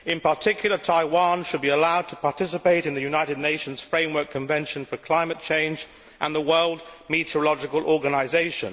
In particular, Taiwan should be allowed to participate in the United Nations Framework Convention for Climate Change and the World Meteorological Organisation.